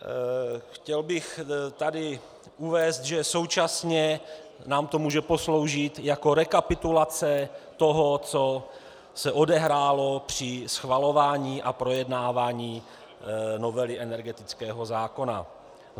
Chtěl bych tady uvést, že současně nám to může posloužit jako rekapitulace toho, co se odehrálo při schvalování a projednávání novely energetického zákona.